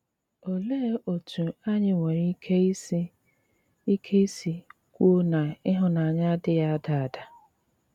Óléé ótú ányị́ nwéré íké ísì íké ísì kwúó ná íhụ́nànyà adị́ghí ádá ádá?